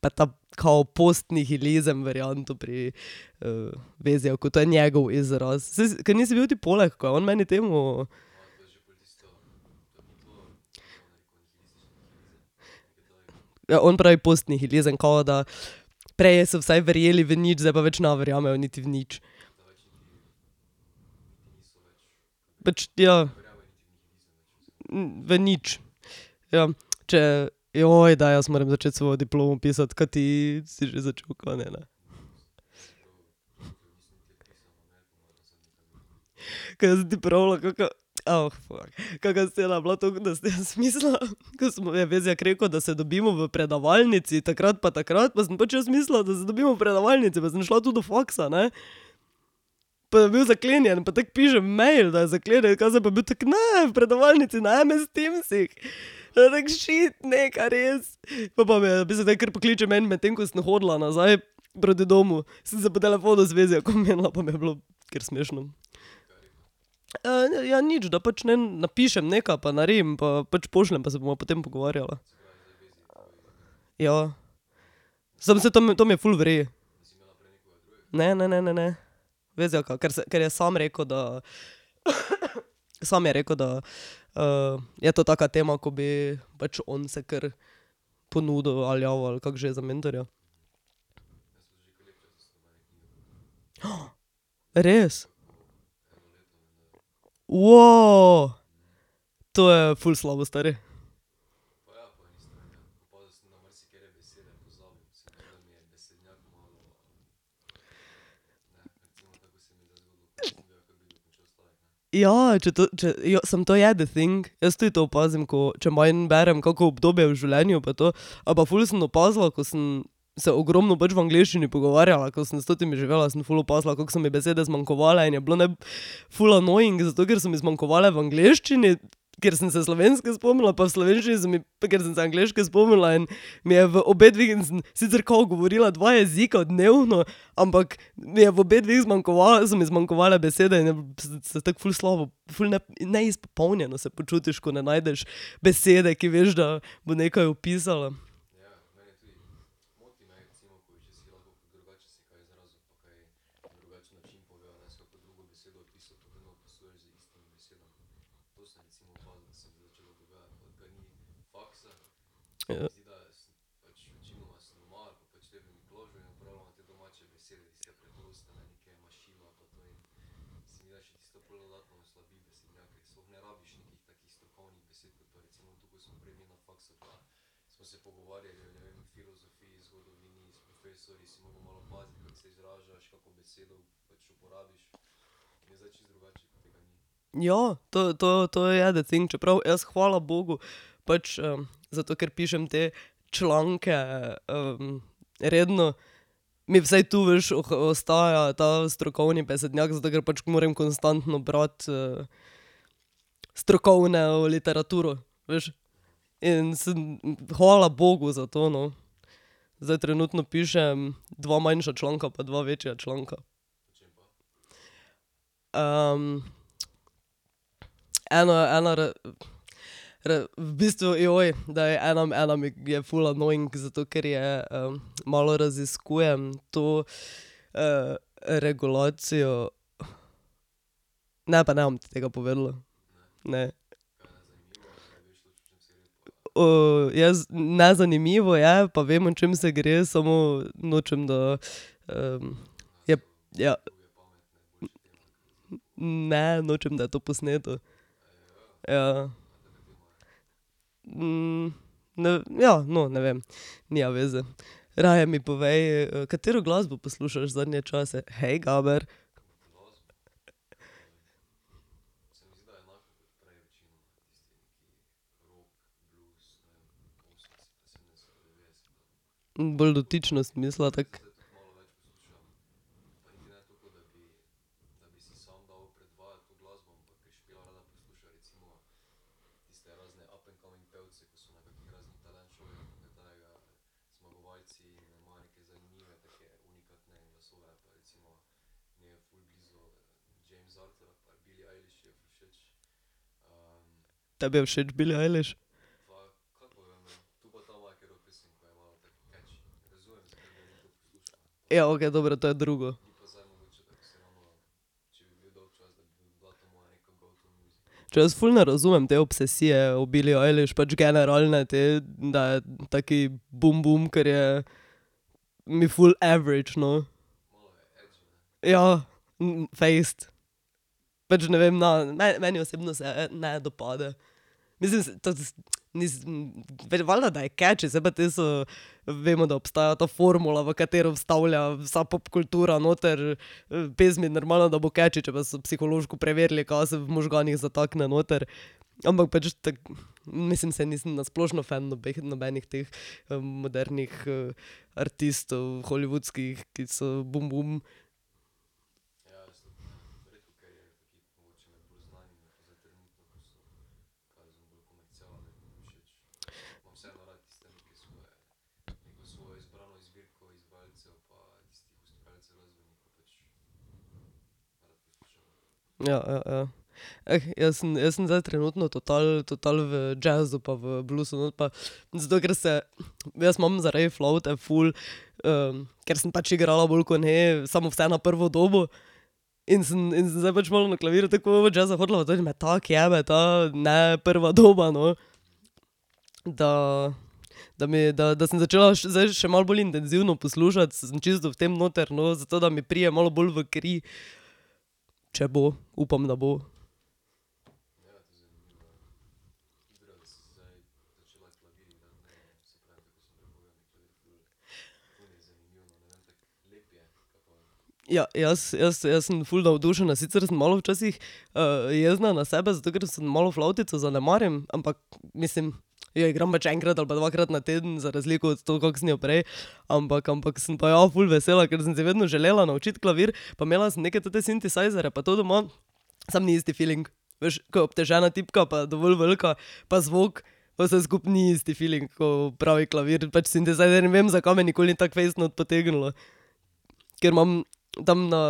pa ta, kao postnihilizem varianto pri, Vezjaku, to je njegov izraz, kaj nisi bil ti poleg, ko je on meni temo ... Ja, on pravi postnihilizem, kao da prej so vsaj verjeli v nič, zdaj pa več ne verjamejo niti v nič. Pač, ja. v nič. Ja, če, zdaj jaz moram začeti svojo diplomo pisati, kaj ti si že začel, kaj ne, ne? Kaj sem ti pravila, kaka, fak, kaka scena je bila , da sem jaz mislila, Vezjak rekel, da se dobimo v predavalnici takrat pa takrat, pa sem pač jaz mislila, da se dobimo v predavalnici pa sem šla tu do faksa, ne, pa je bil zaklenjen, pa tako pišem mail, da je zaklenjen, kaj zdaj, pa je bil tako, ne, v predavalnici na MS Teamsih. Potem pa tako šit, ne, kaj res. Pol pa mi je napisal, naj kar pokličem , medtem ko sem hodila nazaj proti domu, sem se po telefonu z Vezjakom menila, pa mi je bilo kar smešno. ja nič, da pač, ne vam, napišem neka pa naredim pa pač pošljem, pa se bova potem pogovarjala. Ja. Samo se tam, tam je ful v redu. Ne, ne, ne, ne, ne. Vezjaka, ker ker je samo rekel, da sam je rekel, da, je to taka tema, ko bi pač on se kar ponudil ali javil, ali kako že, za mentorja. Res? To je ful slabo, stari. Ja, če to, če jo, samo to je the thing, jaz tudi to opazim, ko, če manj berem, kako obdobje v življenju pa to, ali pa ful sem opazila, ko sem se ogromno pač v angleščini pogovarjala, ko sem s totimi živela, sem ful opazila, kako so mi besede zmanjkovale in je bilo, ne vem, ful annoying zato, ker so mi zmanjkovale v angleščini, ker sem se slovenske spomnila pa v slovenščini so mi, pa ker sem se angleške spomnila in mi je v obedve in sem sicer kao govorila dva jezika dnevno, ampak mi je v obehdveh so mi zmanjkovale besede in se tako ful slabo ful ful neizpopolnjeno se počutiš, ko ne najdeš besede, ki veš, da bo nekaj opisala. Ja. Ja, to, to, to je the thing, čeprav jaz, hvala bogu, pač, zato ker pišem te članke, redno, mi vsaj tu, veš, ostaja ta strokovni besednjak, zato ker pač moram konstantno brati, strokovno literaturo, veš, in sem, hvala bogu, zato, no. Zdaj trenutno pišem dva manjša članka pa dva večja članka. eno je eno v bistvu, daj, ena ena mi je ful annoying zato, ker je, malo raziskujem to, regulacijo. Ne pa ne bom ti tega povedala, ne. jaz, ne, zanimivo je pa vem, o čem se gre, samo nočem, da, jep, ja. ne, nočem, da je to posneto. Ja. ja, no, ne vem, nima veze. Raje mi povej, katero glasbo poslušaš zadnje čase, hej, Gaber. bolj dotično sem mislila tako. Tebi je všeč Billie Eilish? Ja, okej, dobro, to je drugo. Če jaz ful ne razumem te obsesije o Billie Eilish, pač generalne te, da je taki bum bum, ker je mi ful average, no. Ja. fejst. Pač ne vem, ne, meni osebno se ne dopade. Mislim to, nisem, valjda, da je catchy, saj pa te so vemo, da obstaja ta formula, v katero vstavlja vsa pop kultura noter, pesmi, normalno, da bo catchy, če pa so psihološko preverili, ka se v možganih zatakne noter, ampak pač tako mislim, saj nisem na splošno fen nobenih teh modernih artistov, hollywoodskih, ki so bum bum. Ja, ja, ja. jaz sem, jaz sem zdaj trenutno total, total v jazzu pa v bluesu not pa, zato ker se, jaz ma zaradi flavte ful, ker sem pač igrala bolj kot ne samo vse na prvo dobo, in sem in sem zdaj pač malo na klavirju toliko jazza hotela tako jebe ta, ne, prva doba, no. Da, da mi da da sem začela zdaj še malo bolj intenzivno poslušati, sem čisto v tem noter, no, zato da mi pride malo bolj v kri, če bo, upam, da bo. Ja, jaz, jaz, jaz sem ful navdušena, sicer sem malo včasih, jezna na sebe, zato, ker sem malo flavtico zanemarim, ampak mislim jo igram pač enkrat ali pa dvakrat na teden za razliko od to, kako sem jo prej, ampak ampak sem pa ja ful vesela, ker sem si vedno želela naučiti klavir, pa imela sem neke tote sintesajzerje pa to doma, samo ni isti filing. Veš, ko je obtežena tipka pa dovolj velika pa zvok, pa vse skupaj ni isti filing ko pravi klavir, pač sintesajzer, ne vem, zakaj me nikoli ni tako fejst not potegnilo, ker imam tam na,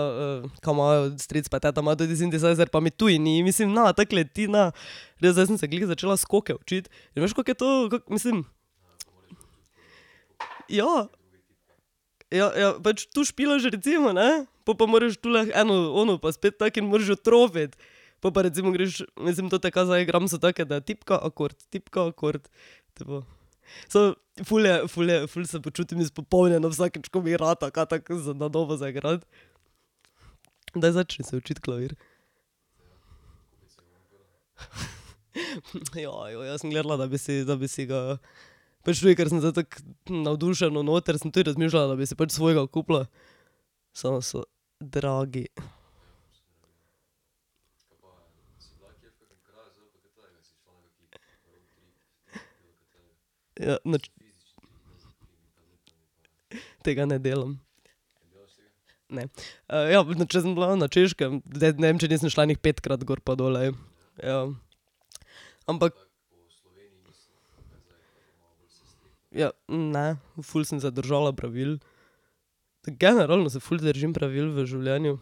ka imajo stric pa ta ima ta sintesajzer pa mi tudi ni, mislim, ne tako leti, ne, glej, zdaj sem se glih začela skoke učiti, in veš, kako je to, kako mislim. Ja. Ja, ja pač tu špilaš recimo, ne, pol pa moraš tule eno ono pa spet tako in moraš jo trofiti. Pol pa recimo greš, mislim tote, ka zdaj igram, so take, da tipka akord, tipka akord. Samo, ful je ful je ful se počutim izpopolnjeno vsakič, ko mi rata kaj tako za na novo zaigrati. Daj začni se učiti klavir. jaz sem gledala, da bi si, da bi si ga pač tudi, ker sem zdaj tako navdušeno noter, sem tudi razmišljala, da bi si pač svojega kupila, samo so dragi. Ja, nič. Tega ne delam. Ne, ja, če sem bila na Češkem, ne vem, če nisem šla ene petkrat gor pa dol, Ja. Ampak ... Ja, ne, ful sem se držala pravil, tako generalno se ful držim pravil v življenju.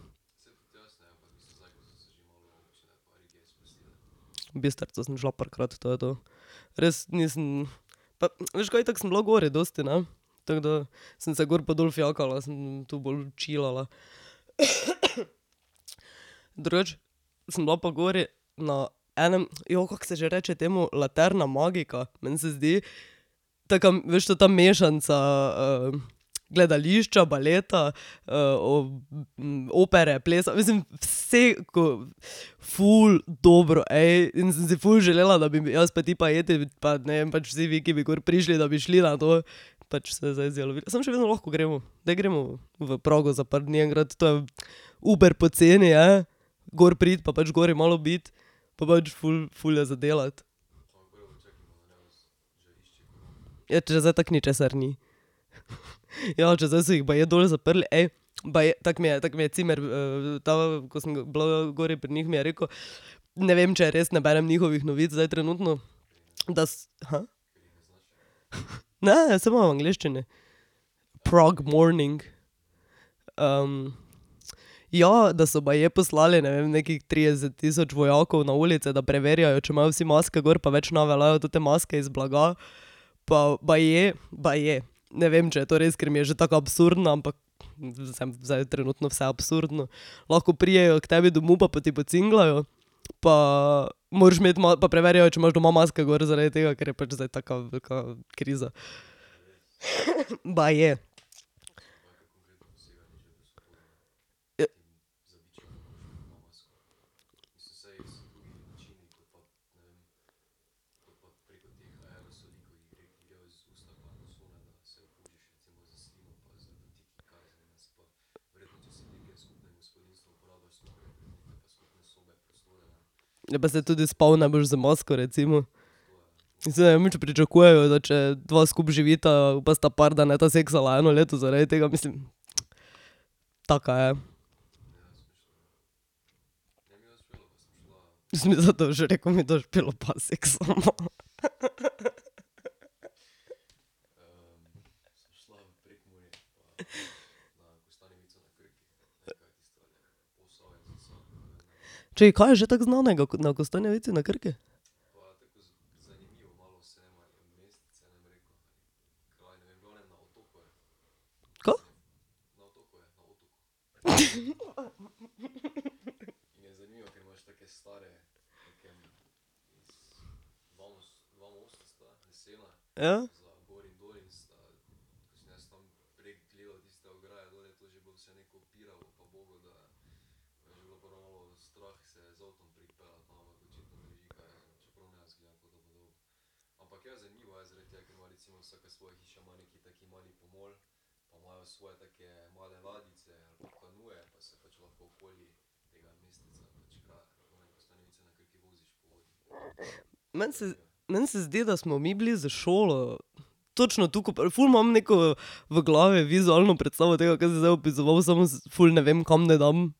V Bistrico sem šla parkrat, to je to. Res, nisem veš kaj, itak sem bila gori dosti, ne. Tako da sem se gor pa dol fijakala, sem tu bolj chillala. Drugače sem bila pa gori na enem, kako se že reče temu Laterna Magica, meni se zdi tekam, veš ta mešanca, gledališča, baleta, opere, plesa, mislim, ko ... ful dobro, in, sem si ful želela da, bi jaz pa ti pa pa ne vem, pač vsi vi, ki bi gor prišli, da bi šli na to, pač se je zdaj izjalovilo, samo še vedno lahko gremo. Daj gremo v Prago za par dni enkrat, to je, iber poceni je. Gor priti pa pač gori malo biti pa pač ful, ful je za delati. Ja, če zdaj tako ničesar ni. Ja, če zdaj so jih baje dol zaprli, baje, tako mi je, tako mi je cimer, ta, ko sem bila v gori pri njih, mi je rekel, ne vem, če res, ne berem njihovih novic zdaj trenutno. Da Ne, saj imajo v angleščini, Prague Morning, ja, da so baje poslali, ne vem, nekih trideset tisoč vojakov na ulice, da preverjajo, če imajo vsi maske gor pa več ne veljajo tote maske iz blaga. Pa baje, baje, ne vem, če je to res, ker mi je že tako absurdno, ampak sem zdaj trenutno vse absurdno, lahko pridejo k tebi domov pa ti pocingljajo pa moraš imeti pa preverjajo, če imaš doma maske gor, zaradi tega, ker je zdaj pač taka velika kriza baje. Ja, pa saj tudi spal ne boš z masko recimo. Zdaj ne vem, če pričakujejo, da če dva skupaj živita pa sta par, da ne bosta seksala eno leto zaradi tega, mislim. Taka je. Sem mislila, da boš rekel mi, da s Špelo pa seksava. Čakaj, kaj je že tako znanega na Kostanjevici na Krki? Ka? Ja. Meni se meni se zdi, da smo mi bili s šolo. Točno to, ful imam neko v glavi vizualno predstavo tega, kaj si zdaj opisal, samo ful ne vem, kam naj dam,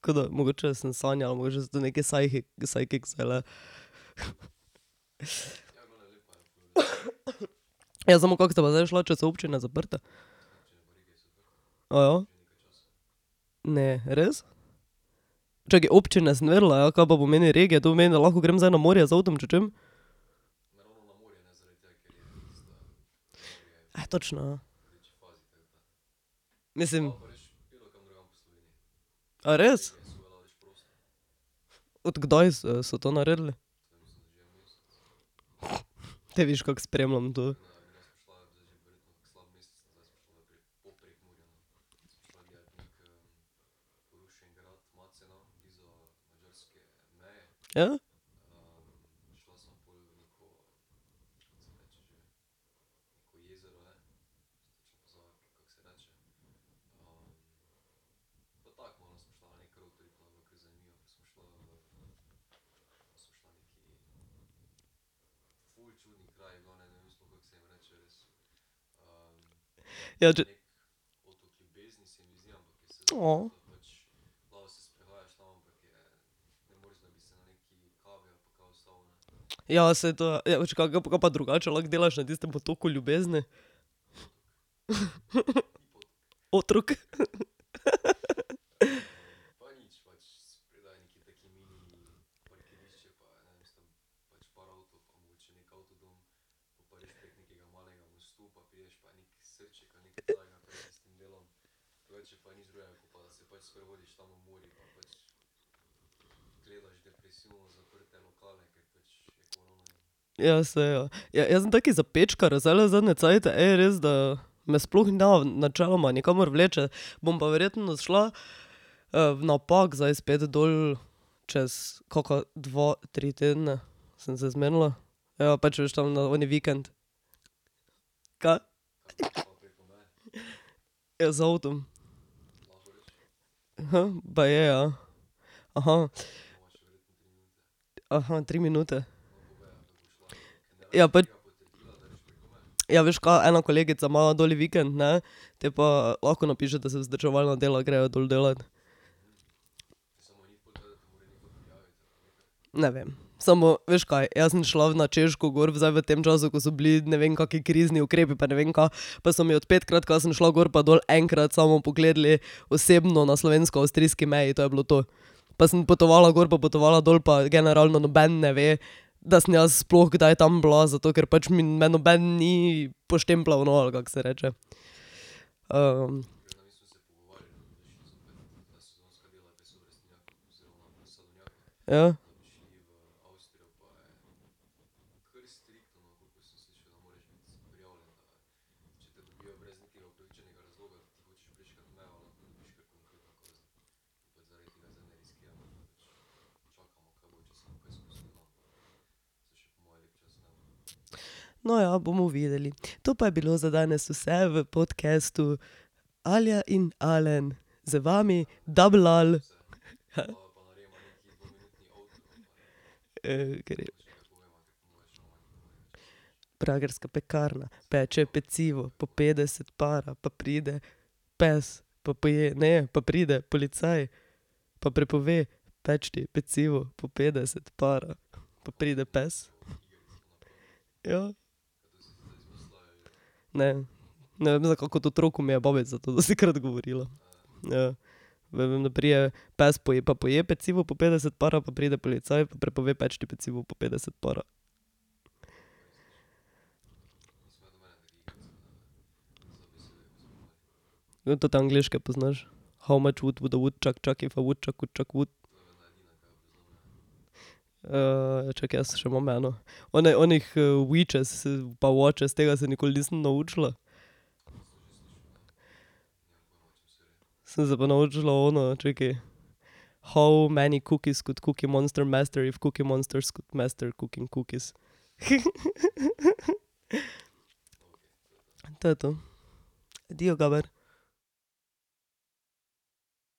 veš tako, ke da mogoče sem sanjala, mogoče so to neke psychic . Ja, samo kako sta pa zdaj šla, če so občine zaprte? Ne, res? Čakaj, občine sem vedela, ja, kaj pa pomeni regije, to pomeni, da lahko grem zdaj na morje z avtom, če hočem? točno, ja. Mislim. A res? Od kdaj so, so to naredili? Te vidiš, kako spremljam to. Ja? Ja ... Ja, saj to, ja , ka pa drugače lahko delaš na tistem otoku Ljubezni? Otrok. Ja, saj ja, jaz sem taki zapečkar zdajle zadnje cajte, res, da me sploh ne načeloma nikamor vleče, bom pa verjetno šla, v na Pag zdaj spet dol. Čez kaka dva, tri tedne sem se zmenila. ja, pač veš tam na oni vikend. Ka? Ja, z avtom. baje, ja. tri minute. Ja ... Ja, veš ka, ena kolegica ima doli vikend, ne, potem pa lahko napiše, da za vzdrževalna dela grejo dol delat. Ne vem. Samo, veš kaj, jaz sem šla na Češko gor zdaj v tem času, ko so bili ne vem kako krizni ukrepi pa ne vem ka, pa so mi od petkrat, ka sem šla gor pa dol, enkrat samo pogledali osebno na slovensko-avstrijski meji, to je bilo to. Pa sem potovala gor pa potovala dol pa generalno noben ne ve, da sem jaz sploh kdaj tam bila, zato ker pač me noben ni poštempljal, no, ali kako se reče. Ja. No, ja, bomo videli. To pa je bilo za danes vse v podcastu Alja in Alen z vami double ali . gre. Pragerska pekarna, peče pecivo, po petdeset para pa pride pes pa poje, ne, pa pride policaj pa prepove peči pecivo po petdeset para, pa pride pes. Ja. Ne. Ne vem, zakaj, kot otroku mi je babica to dostikrat govorila. Ja. Vem, da pride pes pa poje pecivo po petdeset para pa pride policaj pa prepove peči pecivo po petdeset para. Vem, tote angleške poznaš. How much would the woodchuck chuck if the woodchuck could chuck wood. čakaj, jaz še imam eno, one onih witches pa watches tega se nikoli nisem naučila. Sem se pa naučila ono, čakaj, how many cookies could cookiemonster master if cookiemonsters could master cooking cookies . To je to. Adijo, Gaber.